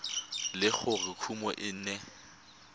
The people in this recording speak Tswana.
le gore kumo e ne